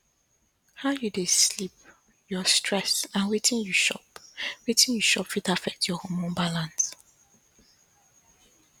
how you dey sleep your stress and wetin you chop wetin you chop fit affect your hormone balance